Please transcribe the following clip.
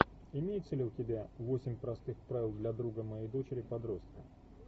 имеется ли у тебя восемь простых правил для друга моей дочери подростка